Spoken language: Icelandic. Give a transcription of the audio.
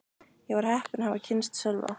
Ég var heppin að hafa kynnst Sölva.